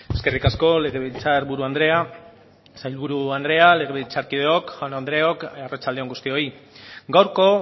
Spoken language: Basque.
eskerrik asko legebiltzarburu andrea sailburu andrea legebiltzarkideok jaun andreok arratsalde on guztioi gaurko